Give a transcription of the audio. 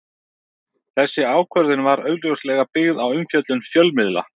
Þessi ákvörðun var augljóslega byggð á umfjöllun fjölmiðla.